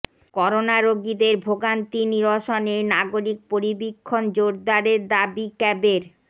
corona রোগীদের ভোগান্তি নিরসনে নাগরিক পরিবীক্ষণ জোরদারের দাবি ক্যাবের